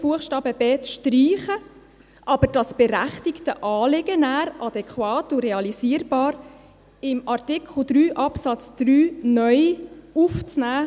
Buchstaben b ist zu streichen, aber das berechtigte Anliegen nachher adäquat und realisierbar in Absatz 3 (neu) aufzunehmen.